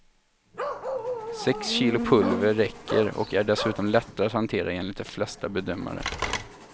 Sex kilo pulver räcker och är dessutom lättare att hantera, enligt de flesta bedömare.